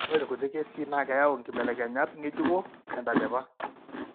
Ore irkuti kesii naa keyau inkibelekenyat ng'ejuko tentalipa.